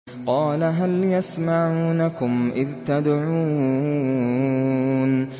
قَالَ هَلْ يَسْمَعُونَكُمْ إِذْ تَدْعُونَ